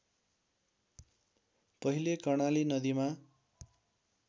पहिले कर्णाली नदीमा